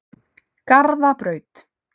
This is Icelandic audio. Garðabraut